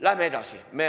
Läheme edasi!